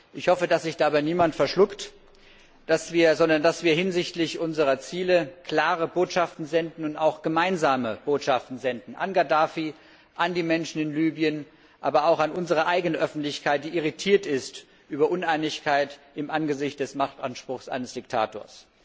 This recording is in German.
Ich hoffe, dass sich dabei niemand verschluckt, sondern dass wir hinsichtlich unserer Ziele klare Botschaften und auch gemeinsame Botschaften an Gaddafi, an die Menschen in Libyen, aber auch an unsere eigene Öffentlichkeit senden, die irritiert ist über Uneinigkeit im Angesicht des Machtanspruchs eines Diktators.